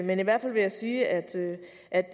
men i hvert fald vil jeg sige at